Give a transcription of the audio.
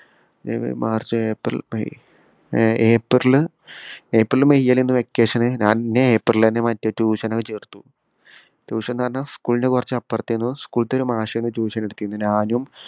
ഏർ March April May ഏർ April April May ലെന്ന് vacation ഞാൻ ന്നേ ഏപ്രിൽ തന്നെ മറ്റേ tuition ന് പോയി ചേർത്തു tuition ന്ന് പറഞ്ഞാ school ഇന്റെ കൊറച് അപ്പർത്തെനു school ത്തെ ഒരു മാഷെനു tuition എടുത്തേ ഞാനും